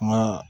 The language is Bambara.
Kuma